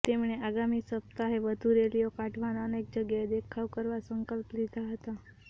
તેમણે આગામી સપ્તાહે વધુ રેલીઓ કાઢવા અને અનેક જગ્યાએ દેખાવ કરવા સંકલ્પ લીધા હતા